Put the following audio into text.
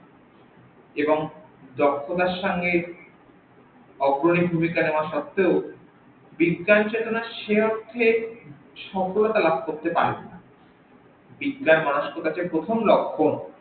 এবং জন্তনার সঙ্গে অগ্রনি ভুমিকা নেওয়ার সত্তেও বিজ্ঞান চেতনা সেই অর্থে সাফল্য লাভ করতে পারে নি বিজ্ঞান মনস্কতা যে প্রথম লক্ষ্যন